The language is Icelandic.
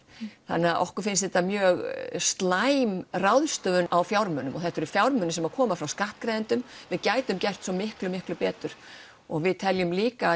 þannig að okkur finnst þetta mjög slæm ráðstöfun á fjármunum og þetta eru fjármunir sem koma frá skattgreiðendum við gætum gert svo miklu miklu betur og við teljum líka